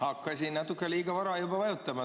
Hakkasin natuke liiga vara juba vajutama.